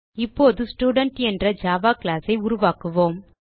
இப்போது ஸ்டூடென்ட் என்ற Java class ஐ உருவாக்குவோம்